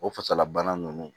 O fasala bana ninnu